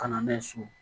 Kana so